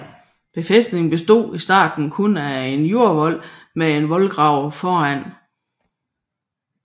Befæstningen bestod i starten kun af en jordvold med en voldgrav foran